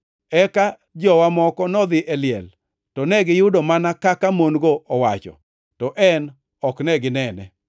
Eka jowa moko nodhi e liel to negiyudo mana kaka mon-go ne owacho, to en ok ne ginene.”